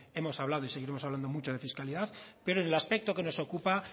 hemos hablado y seguiremos hablando mucho de fiscalidad pero en el aspecto que nos ocupa